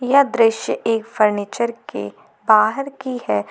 यह दृश्य एक फर्नीचर के बाहर की है।